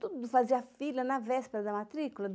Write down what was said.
Tudo fazia fila na véspera da matrícula.